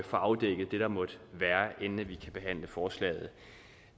få afdækket det der måtte være inden vi kan behandle forslaget